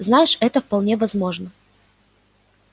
знаешь это вполне возможно